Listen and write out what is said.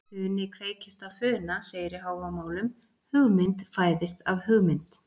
Funi kveikist af funa segir í Hávamálum, hugmynd fæðist af hugmynd.